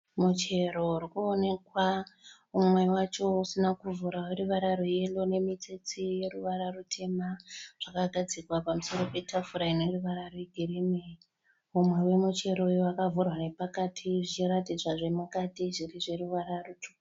Muchero urikuonekwa umwe wacho usina kuvhurwa weruvara rweyerro nemitsetse yeruvara rutema zvakagadzikwa pamusoro petafura ineruvara rwegirini. Mumwe wemuchero uyu wakavhurwa nepakati zvichiratidzwa zvemukati zviri zveruvara rutsvuku.